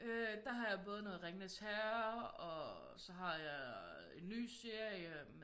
Øh der har jeg både noget Ringenes Herre og så har jeg en ny serie